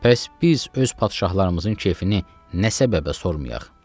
Pəs biz öz padşahlarımızın kefini nə səbəbə sormayaq?